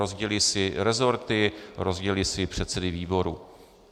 Rozdělí si resorty, rozdělí si předsedy výborů.